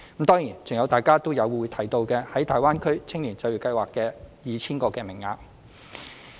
當然，還有大家也有提及的"大灣區青年就業計劃"的 2,000 個名額。